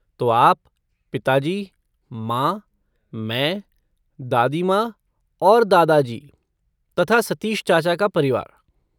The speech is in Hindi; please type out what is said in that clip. तो आप, पिताजी, माँ, मैं, दादी माँ और दादाजी, तथा सतीश चाचा का परिवार।